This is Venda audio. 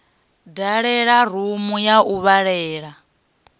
dalela rumu ya u vhalela